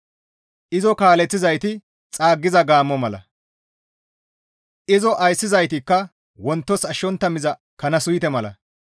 Izo kaaleththizayti xaaggiza gaammo mala. Izo ayssizaytikka wontos ashshontta miza kana suyte mala.